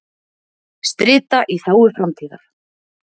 Strita í þágu framtíðar.